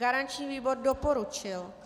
Garanční výbor doporučil.